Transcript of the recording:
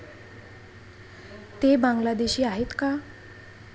ते बांग्लादेशी आहेत का?